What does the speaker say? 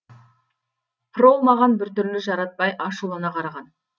прол маған біртүрлі жаратпай ашулана қараған